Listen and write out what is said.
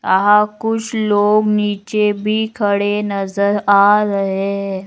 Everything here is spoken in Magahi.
आहां कुछ लोग नीचे भी खड़े नजर आ रहे है ।